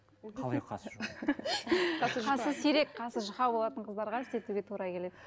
қалай қасы жоқ қасы сирек қасы жұқа болатын қыздарға істетуге тура келеді